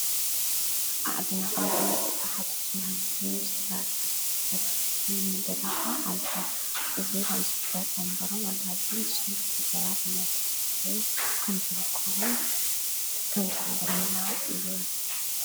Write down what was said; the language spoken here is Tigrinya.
ኣእድና በ ተኻትዙናን ሰባት ኣለዉኹ ዘናን ቦታዓ ኣልሆ እዙ ኸም ዘፍደጥ እምበሮ ወልዳልዩ ስሉ ሰባት እናተዘበይ ከምዘርክዉ ከምታን ብና እዩ።